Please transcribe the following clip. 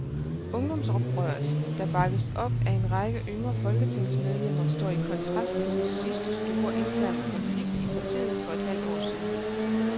Ungdomsoprøret, der bakkes op af en række yngre folketingsmedlemmer, står i kontrast til den sidste store interne konflikt i partiet for et halvt år siden.